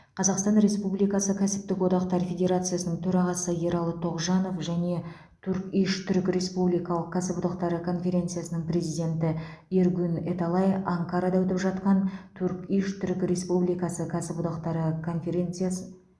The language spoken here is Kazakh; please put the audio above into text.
қазақстан республикасы кәсіптік одақтар федерациясының төрағасы ералы тоғжанов және турк иш түрік республикалық кәсіподақтары конфедерациясының президенті эргюн эталай анкарада өтіп жатқан турк иш түрік республикасы кәсіподақтары конференциясы